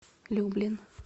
люблин